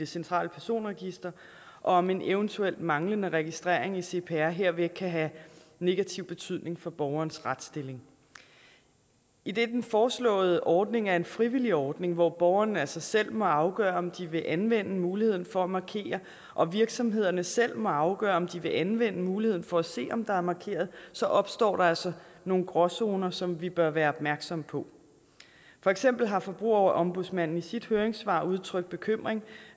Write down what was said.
centrale personregister og om en eventuel manglende registrering i cpr herved kan have negativ betydning for borgerens retsstilling idet den foreslåede ordning er en frivillig ordning hvor borgerne altså selv må afgøre om de vil anvende muligheden for at markere og virksomhederne selv må afgøre om de vil anvende muligheden for at se om der er markeret så opstår der altså nogle gråzoner som vi bør være opmærksomme på for eksempel har forbrugerombudsmanden i sit høringssvar udtrykt bekymring